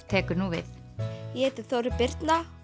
tekur nú við ég heiti Þórey Birna